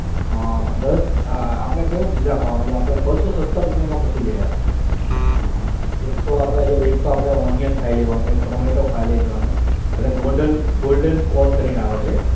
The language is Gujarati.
હા દત્ત આપણે કયો pizza ખાવાનો છે આપણે બસો સત્તર રૂપિયામાં પતી જાય આપણે એક તો આપણે જો એક તો આપણે onion ખાઈ લેવાનો એક tomato ખાઈ લેવાનો અને golden golden corn કરીને આવે છે.